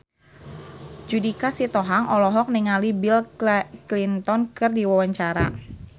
Judika Sitohang olohok ningali Bill Clinton keur diwawancara